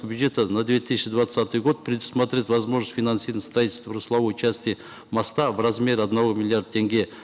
бюджета на две тысячи двадцатый год предусмотреть возможность финансирования строительства русловой части моста в размере одного миллиарда тенге